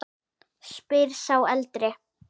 spyr sá eldri.